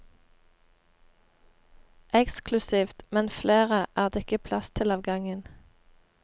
Eksklusivt, men flere er det ikke plass til av gangen.